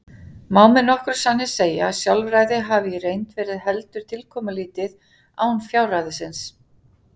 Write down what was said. Má með nokkrum sanni segja að sjálfræði hafi í reynd verið heldur tilkomulítið án fjárræðisins.